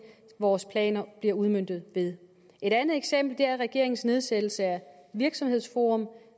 vores planer bliver udmøntet ved et andet eksempel er regeringens nedsættelse af virksomhedsforum